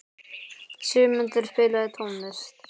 Sigurmundur, spilaðu tónlist.